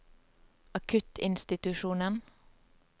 akuttinstitusjonen